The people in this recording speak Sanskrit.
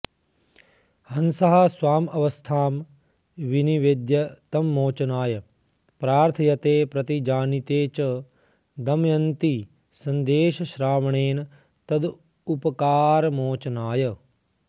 हंसः स्वामवस्थां विनिवेद्य तं मोचनाय प्रार्थयते प्रतिजानीते च दमयन्ती सन्देशश्रावणेन तदुपकारमोचनाय